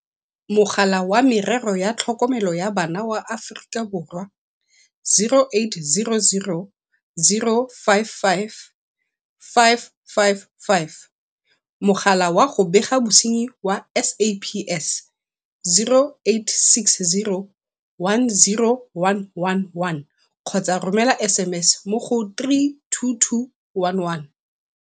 Mogala wa Merero ya Tlhokomelo ya Bana wa Aforika Borwa, 0800 055 555. Mogala wa go Bega Bosenyi wa SAPS, 0860 10111 kgotsa romela SMS mo go 32211.